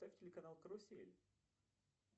поставь телеканал карусель